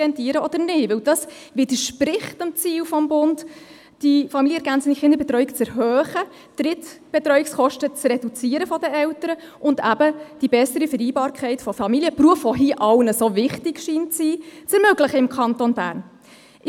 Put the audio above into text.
Denn das widerspricht dem Ziel des Bundes, die familienergänzende Kinderbetreuung zu erhöhen, die Drittbetreuungskosten der Eltern zu reduzieren und eben die bessere Vereinbarkeit von Familie und Beruf, die hier allen so wichtig zu sein scheint, im Kanton Bern zu ermöglichen.